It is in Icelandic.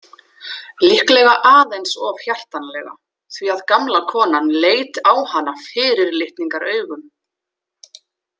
Líklega aðeins of hjartanlega því að gamla konan leit á hana fyrirlitningaraugum.